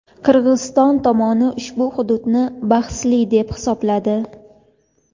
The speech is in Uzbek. Qirg‘iziston tomoni ushbu hududni bahsli deb hisobladi.